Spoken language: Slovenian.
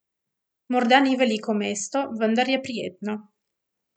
Morda ni veliko mesto, vendar je prijetno.